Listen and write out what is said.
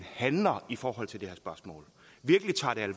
handler i forhold til det her spørgsmål